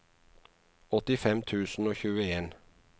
åttifem tusen og tjueen